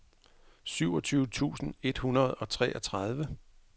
syvogtyve tusind et hundrede og treogtredive